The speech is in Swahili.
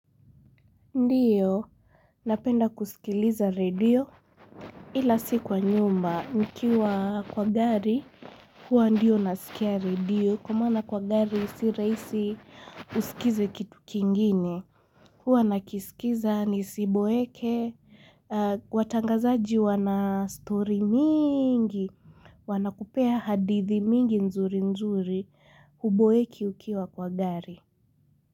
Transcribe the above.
Ndiyo, napenda kusikiliza radio, ila si kwa nyumba, nikiwa kwa gari, huwa ndiyo nasikia radio, kwa maana kwa gari si rahisi usikize kitu kingine. Huwa nakisikiza, nisiboeke, watangazaji wana stori mingi, wanakupea hadithi mingi nzuri nzuri, huboeki ukiwa kwa gari.